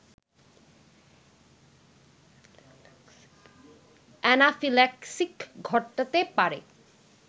anaphylaxis ঘটাতে পারে